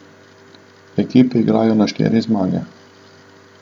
Ekipe igrajo na štiri zmage.